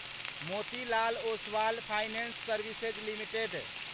Motilal Oswal finance services limited